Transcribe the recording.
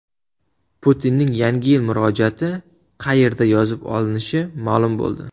Putinning Yangi yil murojaati qayerda yozib olinishi ma’lum bo‘ldi.